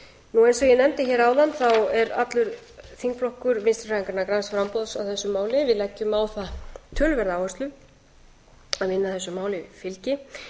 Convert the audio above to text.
eins og ég nefndi hér áðan er allur þingflokkur vinstri hreyfingarinnar græns framboðs á þessu máli við leggjum á það töluverða áherslu að vinna þessu máli fylgi